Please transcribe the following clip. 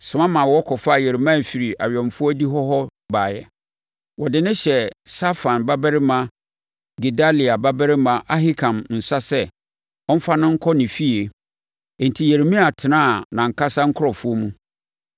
soma ma wɔkɔfaa Yeremia firi awɛmfoɔ adihɔ hɔ baeɛ. Wɔde no hyɛɛ Safan babarima Gedalia babarima Ahikam nsa sɛ ɔmfa no nkɔ ne efie. Enti, Yeremia tenaa nʼankasa nkurɔfoɔ mu.